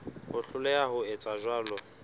ho hloleha ho etsa jwalo